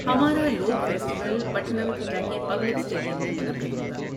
ہمارا لوک festival Pathanamthitta کے پبلک اسٹیڈیم میں منعقد ہوگا۔